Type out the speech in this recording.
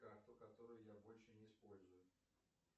карту которую я больше не использую